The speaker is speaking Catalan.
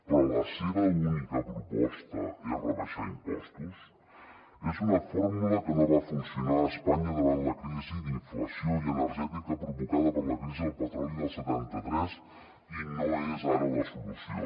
però la seva única proposta és rebaixar impostos és una fórmula que no va funcionar a espanya davant la crisi d’inflació i energètica provocada per la crisi del petroli del setanta tres i no és ara la solució